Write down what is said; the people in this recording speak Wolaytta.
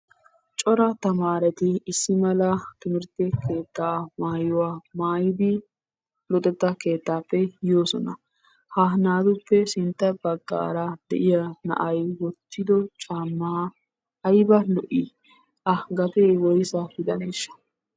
Cora tamaareti issi mala timirtte keettaa maayuwa maayidi luxettaa keettaappe yoosona. Ha naatuppe sintta baggaara de'iyaa na"ay woottido caammaa ayba lo"i! A gatee woysa gidaneeshsha?